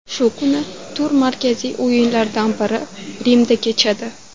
Shu kuni tur markaziy o‘yinlaridan biri Rimda kechadi.